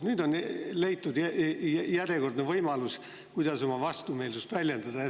Nüüd on leitud järjekordne võimalus, kuidas oma vastumeelsust väljendada.